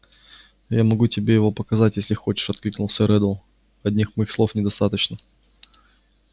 я могу тебе его показать если хочешь откликнулся реддл одних моих слов недостаточно